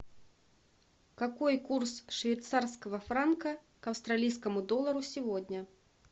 какой курс швейцарского франка к австралийскому доллару сегодня